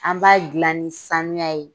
An b'a gilan ni sanuya ye.